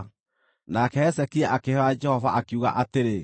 Nake Hezekia akĩhooya Jehova, akiuga atĩrĩ: